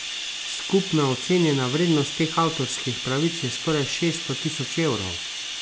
Skupna ocenjena vrednost teh avtorskih pravic je skoraj šeststo tisoč evrov.